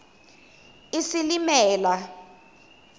isilimela